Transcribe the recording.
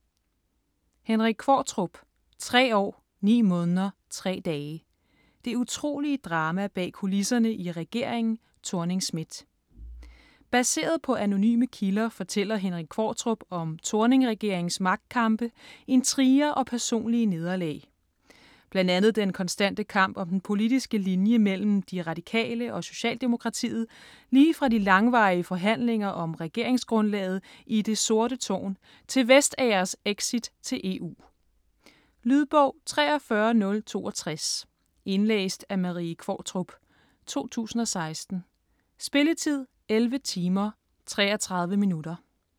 Qvortrup, Henrik: Tre år ni måneder tre dage: det utrolige drama bag kulisserne i regeringen Thorning-Schmidt Baseret på anonyme kilder fortæller Henrik Qvortrup om Thorning-regeringens magtkampe, intriger og personlige nederlag. Bl.a. den konstante kamp om den politiske linje mellem De Radikale og Socialdemokratiet lige fra de langvarige forhandlinger om regeringsgrundlaget i "Det sorte tårn" til Vestagers exit til EU. Lydbog 43062 Indlæst af Marie Qvortrup, 2016. Spilletid: 11 timer, 33 minutter.